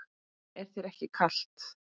Er þér ekki kalt?